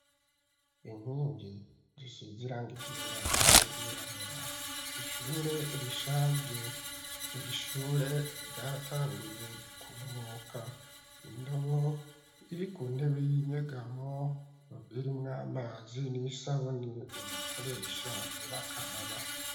Inkingi zisize irangi ryera n'iryirabura ishure rishaje iri shure ryaratanguye gukunyuka indobo iri ku ntebe y'inyegamo iri mw'amazi n'isabuni bakoresha bakaraba.